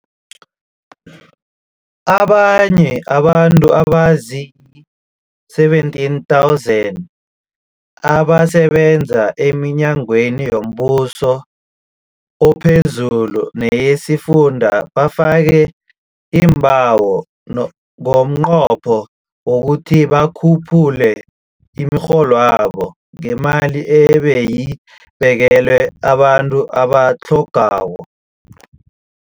Abanye abantu aba zii-17 000 abasebenza eminyangweni yombuso ophezulu neyesifunda bafake iimbawo ngomnqopho wokuthi bakhuphule imirholwabo ngemali ebeyibekelwe abantu abatlhogako.